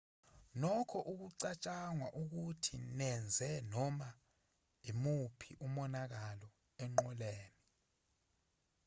nokho akucatshangwa ukuthi zenze noma imuphi umonakalo enqoleni